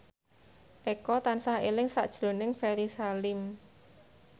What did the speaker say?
Eko tansah eling sakjroning Ferry Salim